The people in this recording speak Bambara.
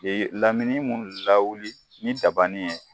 Ee lamini minnu lawuli ni dabanin ye